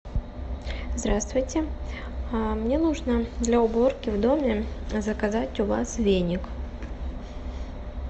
здравствуйте мне нужно для уборки в доме заказать у вас веник